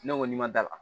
Ne ko n'i ma da la